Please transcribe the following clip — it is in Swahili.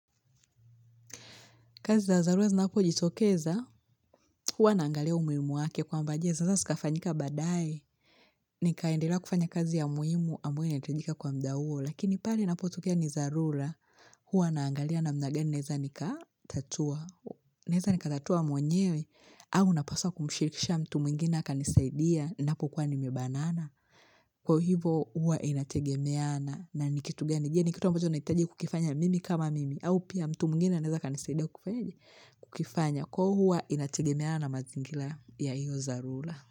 Kazi za dharura zinapojitokeza, huwa naangalia umuhimu wake kwamba je, sasa zikafanyika badae, nikaendelea kufanya kazi ya muhimu ambayo inahitajika kwa muda huo, lakini pale inapotokea ni dharura huwa naangalia namna gani naeza nikatatua. Naeza nikatatua mwenyewe au napaswa kumshirikisha mtu mwingine akanisaidia ninapokuwa nimebanana. Kwa hivo huwa inategemeana na ni kitu gani. Je, ni kitu ambacho nahitaji kukifanya mimi kama mimi au pia mtu mwingine anaweza akanisaidia kufanyeje? Kukifanya. Kwa hiyo huwa inategemeana na mazingira ya hiyo dharura.